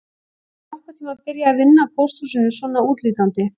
Get ég nokkurn tíma byrjað að vinna á pósthúsinu svona útlítandi